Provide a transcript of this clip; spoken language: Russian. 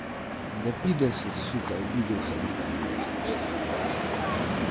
да пидор си сука обиделся он там блять